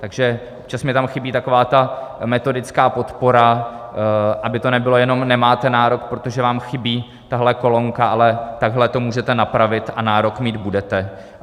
Takže občas mně tam chybí taková ta metodická podpora, aby to nebylo jenom "nemáte nárok, protože vám chybí tahle kolonka", ale takhle to můžete napravit a nárok mít budete.